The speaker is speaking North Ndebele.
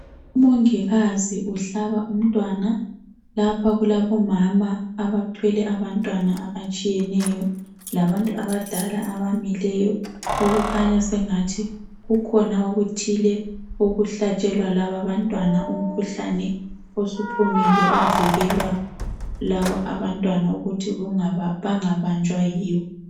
Umongikazi uhlaba umntwana. Lapha kulabomama abathwele abantwana abatshiyeneyo. Labantu abadala abamileyo okukhanya sengathi kukhona okuthile okuhlatshelwa lababantwana, umkhuhlane osuphumile ovikelwa lababantwana ukuthi bangabanjwa yiwo.